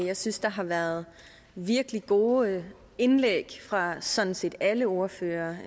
jeg synes der har været virkelig gode indlæg fra sådan set alle ordførere